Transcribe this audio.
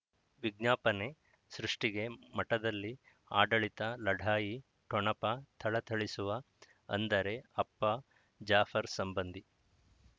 ವಿಜ್ಞಾಪನೆ ಸೃಷ್ಟಿಗೆ ಮಠದಲ್ಲಿ ಆಡಳಿತ ಲಢಾಯಿ ಠೊಣಪ ಥಳಥಳಿಸುವ ಅಂದರೆ ಅಪ್ಪ ಜಾಫರ್ ಸಂಬಂಧಿ